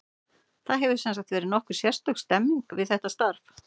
Það hefur, sem sagt, verið nokkuð sérstök stemming við þetta starf.